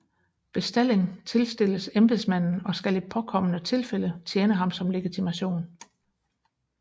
Bestalling tilstilles embedsmanden og skal i påkommende tilfælde tjene ham som legitimation